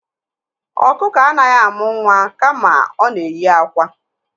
Ọkụkọ anaghị amụ nwa kama ọ na na-eyi akwa.